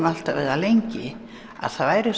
það lengi að það væri